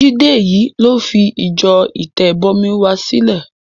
Jídé yìí ló fi ìjọ Ìtẹ̀bọmi wa sílẹ̀.